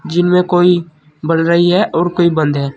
जिनमें कोई बल रही हैं और कोई बंद है।